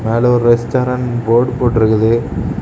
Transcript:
மேல ஒரு restaurant board போட்டுருக்குது.